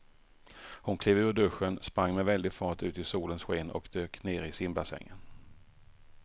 Hon klev ur duschen, sprang med väldig fart ut i solens sken och dök ner i simbassängen.